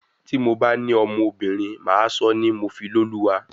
Tí mo bá ní ọmọbìnrin, Màá sọ ọ́ ni Mofifoluwa.